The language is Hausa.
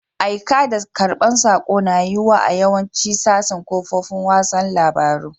Aika da karban sako na yiwuwa a yawacin sasin kafofin wasan labaru.